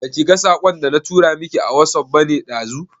Baki ga saƙon da na tura miki a wasuf bane ɗazu?